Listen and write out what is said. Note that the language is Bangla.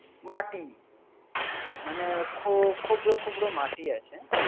মাটি মানে খো-খোব্র খোব্র মাটি আছে